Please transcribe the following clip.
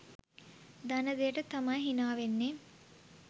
දන්න දෙයට තමයි හිනා වෙන්නේ.